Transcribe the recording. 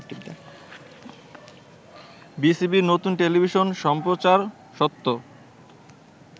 BCB নতুন television সম্প্রচারস্বত্ব